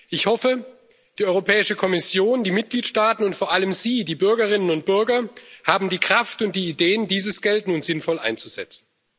Ich hoffe, die Europäische Kommission, die Mitgliedstaaten und vor allem sie, die Bürgerinnen und Bürger, haben die Kraft und die Ideen, dieses Geld nun sinnvoll einzusetzen.